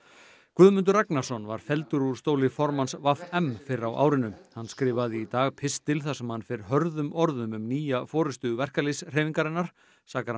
Guðmundur Ragnarsson var felldur úr stóli formanns v m fyrr á árinu hann skrifaði í dag pistil þar sem hann fer hörðum orðum um nýja forystu verkalýðshreyfingarinnar sakar